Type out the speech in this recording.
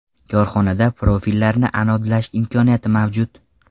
Korxonada profillarni anodlash imkoniyati mavjud.